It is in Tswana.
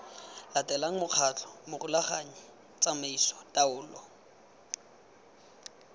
latelang mokgatlho morulaganyi tsamaiso taolo